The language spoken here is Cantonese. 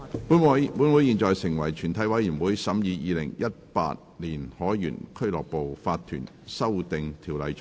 本會現在成為全體委員會，審議《2018年海員俱樂部法團條例草案》。